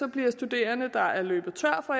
bliver studerende der er løbet tør for